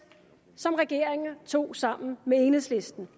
som regeringen tog sammen med enhedslisten